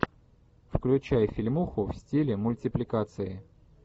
включай фильмуху в стиле мультипликации